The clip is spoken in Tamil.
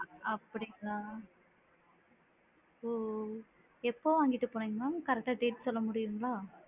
அப்படிங்களா! எப்போ வாங்கிட்டு போனிங்க mam? correct டா date சொல்ல முடியுங்களா?